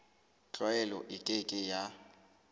tlwaelo e ke ke ya